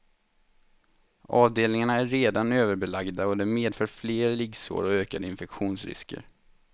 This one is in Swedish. Avdelningarna är redan överbelagda och det medför fler liggsår och ökande infektionsrisker.